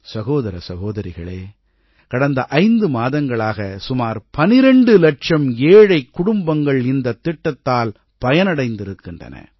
சகோதர சகோதரிகளே கடந்த ஐந்து மாதங்களாக சுமார் 12 இலட்சம் ஏழைக் குடும்பங்கள் இந்தத்திட்டத்தால் பயனடைந்திருக்கின்றன